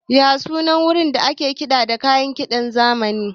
Me sunan wurin da ake kiɗa da kayan kiɗa na zamani?